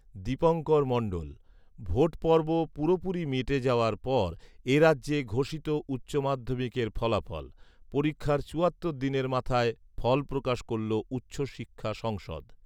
দীপঙ্কর মণ্ডল ভোটপর্ব পুরোপুরি মিটে যাওয়ার পর এরাজ্যে ঘোষিত উচ্চমাধ্যমিকের ফলাফল৷পরীক্ষার চুয়াত্তর দিনের মাথায় ফলপ্রকাশ করল উচ্চশিক্ষা সংসদ৷